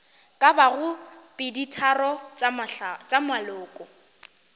ka bago peditharong tša maloko